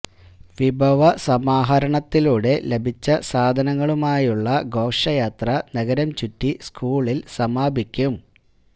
വിഭവ സമാഹരണത്തിലൂടെ ലഭിച്ച സാധനങ്ങളുമായുള്ള ഘോഷയാത്ര നഗരം ചുറ്റി സ്കൂളില് സമാപിക്കും